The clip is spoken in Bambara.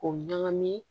K'o ɲagami